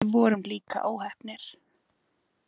Við vorum líka óheppnir